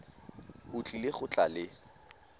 o tlile go tla le